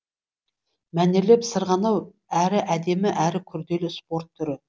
мәнерлеп сырғанау әрі әдемі әрі күрделі спорт түрі